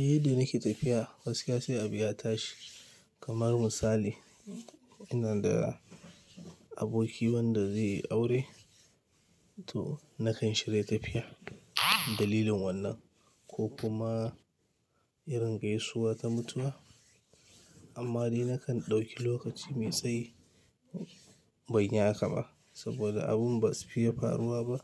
Eh, da nake tafiya gaskiya se abu ya tashi. Kamar misali ina da aboki wanda zai yi aure to nakan shirya tafiya dalilin wannan ko kuma irin gaisuwa ta mutuwa. Amma dai nakan ɗauki lokaci mai tsayi ban yi haka ba saboda abun ba su fiye faruwa ba